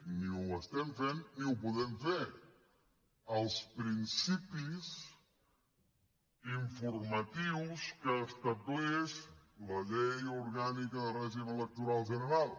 ni ho estem fent ni ho podem fer els principis informatius que estableix la llei orgànica de règim electoral general